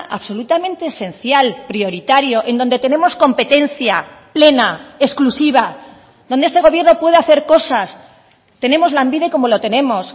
absolutamente esencial prioritario en donde tenemos competencia plena exclusiva donde este gobierno puede hacer cosas tenemos lanbide como lo tenemos